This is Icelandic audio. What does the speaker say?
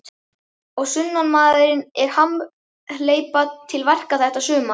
Og sunnanmaðurinn er hamhleypa til verka þetta sumar.